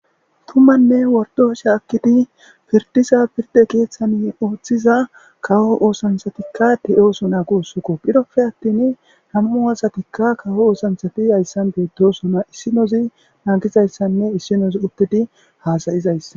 Tumanne wordosha akkidi pirdiza pirde keeththan ooththiza kawo oosansatikka de'oosu na gu ussukko phiroppe attin namu oosatikka kawo oosantsati hayssan beedosona issinozi nangizayssanne issinozi uttedi haasayizayss.